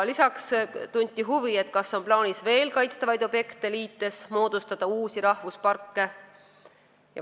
Lisaks tunti huvi, kas on plaanis veel kaitstavaid objekte liites uusi rahvusparke moodustada.